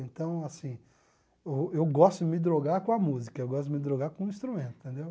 Então, assim, eu eu gosto de me drogar com a música, eu gosto de me drogar com o instrumento, entendeu?